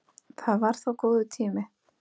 Það var það góður tími.